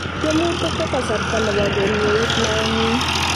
Tiemutik ko kasarta ne bo kemieit naengung